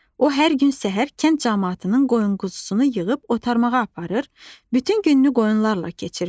O hər gün səhər kənd camaatının qoyun-quzusunu yığıb otarmağa aparır, bütün gününü qoyunlarla keçirirdi.